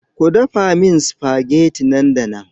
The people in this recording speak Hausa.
Ku dafa min supageti nan da nan!